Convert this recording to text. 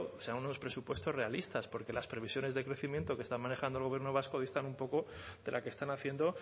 sean unos presupuestos realistas porque las previsiones de crecimiento que está manejando el gobierno vasco distan un poco de la que están haciendo